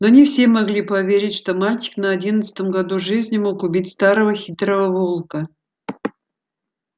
но не все могли поверить что мальчик на одиннадцатом году жизни мог убить старого хитрого волка